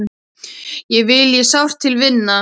Þig vil ég sárt til vinna.